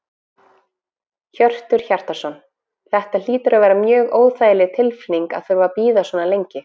Hjörtur Hjartarson: Þetta hlýtur að vera mjög óþægileg tilfinning að þurfa að bíða svona lengi?